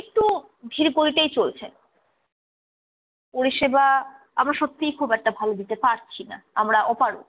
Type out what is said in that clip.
একটু ধীর গতিতেই চলছে। পরিষেবা আমরা সত্যি খুব একটা ভালো দিতে পারছি না, আমরা অপারক।